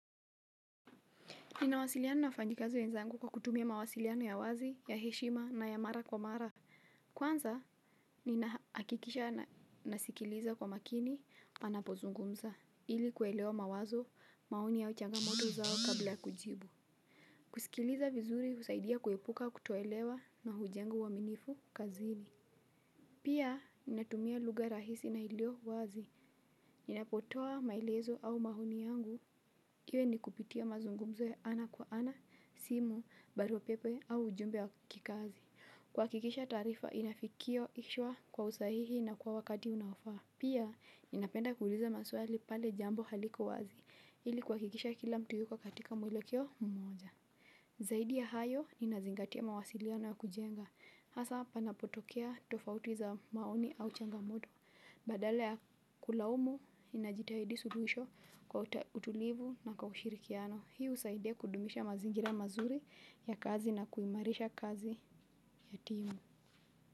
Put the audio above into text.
Ninawasiliano na wafanyikazi wenzangu kwa kutumia mawasiliano ya wazi, ya heshima na ya mara kwa mara. Kwanza, ninahakikisha nasikiliza kwa makini wanapozungumza, ili kuelewa mawazo maoni ya au changamoto zao kabla ya kujibu. Kusikiliza vizuri husaidia kuepuka kutoelewa na hujenga uwaminifu kazini. Pia, ninatumia lugha rahisi na iliowazi. Ninapotoa maelezo au maoni yangu. Hiyo ni kupitia mazungumzo ya ana kwa ana, simu, barua pepe au ujumbe wa kikazi. Kuhakikisha taarifa, inafikia kichwa kwa usahihi na kwa wakati unaofaa. Pia, ninapenda kuuliza maswali pale jambo haliko wazi. Ili kuhakikisha kila mtu yuko katika mwelekeo mmoja. Zaidi ya hayo ninazingatia mawasiliano ya kujenga. Hasaa panapotokea tofauti za maoni au changamoto. Badala ya kulaumu ninajitahidi suluhisho kwa utulivu na kwa ushirikiano. Hii husaidia kudumisha mazingira mazuri ya kazi na kuimarisha kazi ya timu.